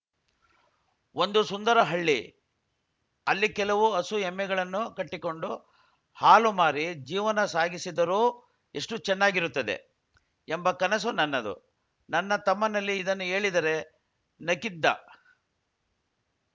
ಒಂದು ಸುಂದರ ಹಳ್ಳಿ ಅಲ್ಲಿ ಕೆಲವು ಹಸುಎಮ್ಮೆಗಳನ್ನು ಕಟ್ಟಿಕೊಂಡು ಹಾಲು ಮಾರಿ ಜೀವನ ಸಾಗಿಸಿದರೂ ಎಷ್ಟು ಚೆನ್ನಾಗಿರುತ್ತದೆ ಎಂಬ ಕನಸು ನನ್ನದು ನನ್ನ ತಮ್ಮನಲ್ಲಿ ಇದನ್ನು ಹೇಳಿದರೆ ನಕ್ಕಿದ್ದ